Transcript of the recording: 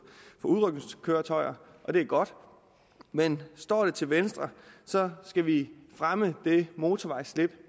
for udrykningskøretøjer og det er godt men står det til venstre skal vi fremme det motorvejsslip